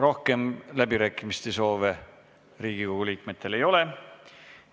Rohkem läbirääkimiste soove Riigikogu liikmetel ei ole.